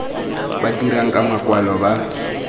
ba dirang ka makwalo ba